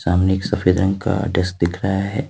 हमें सफेद रंग का डेस्क दिख रहा है।